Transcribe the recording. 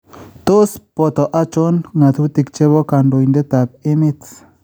Tos poto achon ngatutik chepo kandoindet ap emeet?